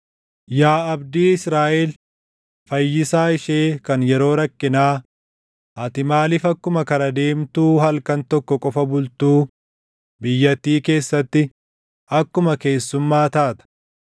Yaa abdii Israaʼel, Fayyisaa ishee kan yeroo rakkinaa, ati maaliif akkuma kara deemtuu halkan tokko qofa bultuu biyyattii keessatti akkuma keessummaa taata?